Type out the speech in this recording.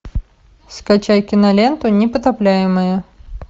скачай киноленту непотопляемые